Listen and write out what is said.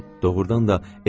Doğrudan da elə.